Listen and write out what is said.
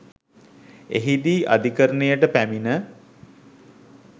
එහිදී අධිකරණයට පැමිණ